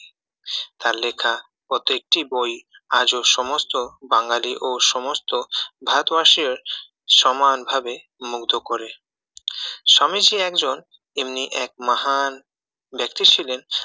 তার লেখা প্রত্যেকটি বই আজও সমস্ত বাঙালি ও সমস্ত ভারতবাসীদের সমানভাবে মুগ্ধ করে স্বামী যে একজন এমনি এক এক মহান ব্যাক্তি ছিলেন